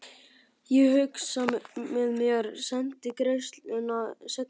Ég hugsaði með mér:- Sendi greiðsluna seinna.